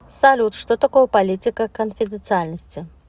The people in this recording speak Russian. салют что такое политика конфиденциальности